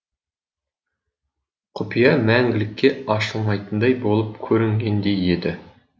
құпия мәңгілікке ашылмайтындай болып көрінгендей еді